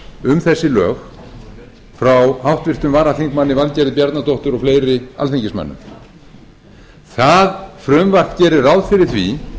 um þessi lög frá háttvirtri varaþm valgerði bjarnadóttur og fleiri alþingismönnum það frumvarp gerir ráð fyrir því